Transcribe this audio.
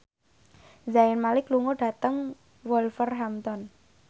Zayn Malik lunga dhateng Wolverhampton